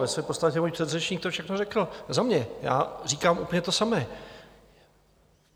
Ve své podstatě můj předřečník to všechno řekl za mě, já říkám úplně to samé.